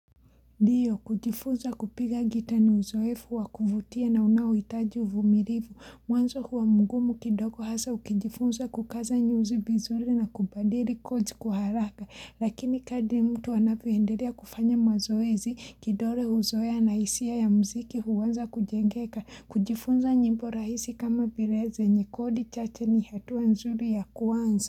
Ndiyo kujifunza kupiga gitaa ni uzoefu wakuvutia na unaohitaji uvumilivu. Mwanzo huwa mgumu kidogo hasa ukijifunza kukaza nyuzi vizuri na kubadili codes kwa haraka. Lakini kadri mtu anavyoendelea kufanya mazoezi kidole huzoea na hisia ya muziki huanza kujengeka. Kujifunza nyimbo rahisi kama vile zenye kodi chache ni hatua nzuri ya kuanza.